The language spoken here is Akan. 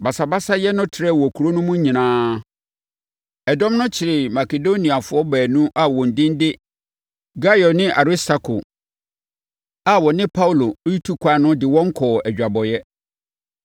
Basabasayɛ no trɛɛ wɔ kuro no mu nyinaa. Ɛdɔm no kyeree Makedoniafoɔ baanu a wɔn din de Gaio ne Aristarko a na wɔne Paulo retu ɛkwan no de wɔn kɔɔ adwabɔeɛ.